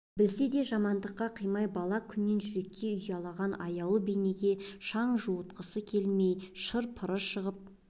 білсе де жамандыққа қимай бала күннен жүрекке ұялаған аяулы бейнеге шаң жуытқысы келмей шыр-пыры шығып